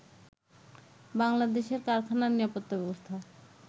বাংলাদেশের কারখানা নিরাপত্তা ব্যবস্থা